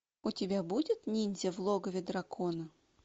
у тебя будет ниндзя в логове дракона